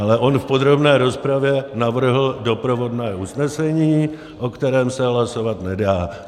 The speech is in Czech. Ale on v podrobné rozpravě navrhl doprovodné usnesení, o kterém se hlasovat nedá.